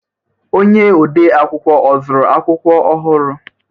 Onye ọdee akwụkwọ ọ zụụrụ akwụkwọ ọhụrụ?